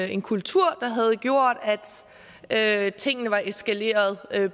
en kultur der havde gjort at tingene var eskaleret